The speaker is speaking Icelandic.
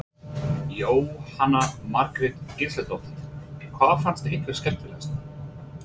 Jóhanna Margrét Gísladóttir: Hvað fannst ykkur skemmtilegast?